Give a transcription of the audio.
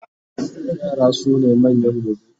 yara sune manyan gobe